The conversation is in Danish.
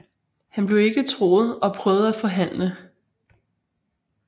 Han blev ikke troet og prøvede at forhandle